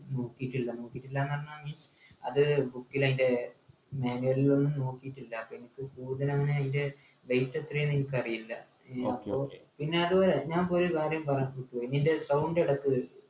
നൂറ്റി ചില്ല നൂറ്റി ചില്ലുവാനം ന്നു പറഞ്ഞാ means അത് book ൽ അതിൻ്റെ manual ൽ ഒന്ന് നോക്കിറ്റില്ല അപ്പൊ എനിക്ക് കൂടുതലങ്ങനെ അയിൻ്റെ weight എത്രയാ ന്നെനിക്കറിയില്ല പിന്നെ അത്പോലെ ഞാൻ പോയി കാര്യം പറയാൻ നിൻ്റെ sound എടക്ക്